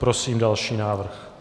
Prosím další návrh.